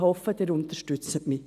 Ich hoffe, Sie unterstützen mich.